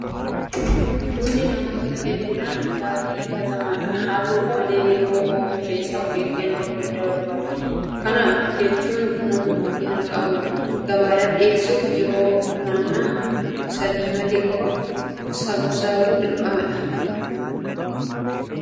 Bunni namoota hedduudhaan dhugaatii filatamaadha. Haata'u malee yeroo oomisha isaa ofeeggannoo guddaa barbaada. Kana jechuun Buna qulqullina qabu gabaadhaaf dhiyeessuuf yeroo funaanamu isa diimate qofa sassaabuun dirqama oomishtootaati. Kana ta'uu baannaan gatiin isaa gadi bu'a. Itoophiyaan oomisha Bunaa irraa faayidaa akkamii argachaa jirti?